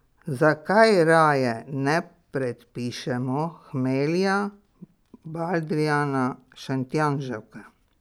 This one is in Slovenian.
Zakaj raje ne predpišemo hmelja, baldrijana, šentjanževke?